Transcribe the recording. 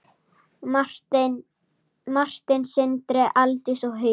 Martin, Sindri, Aldís og Hugi.